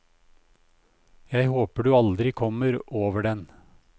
Jeg håper du aldri kommer over den.